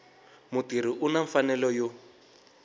mutirhi u na mfanelo yo